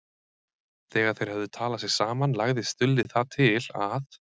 Þegar þeir höfðu talað sig saman lagði Stulli það til að